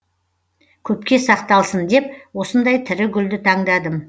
көпке сақталсын деп осындай тірі гүлді таңдадым